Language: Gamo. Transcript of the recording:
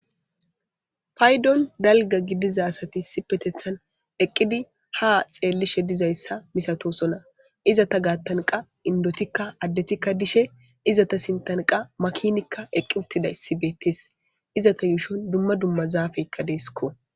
Paydon dalga gidiza asati sipetethan eqqidi ha xeellishe dizayssa misatosona iza ta gaattanqa indotikka addetikka dishe izata sintanqa makinikka eqqi uttida issi beettes izata yuushon dumma dumma zaafeykka deesikko.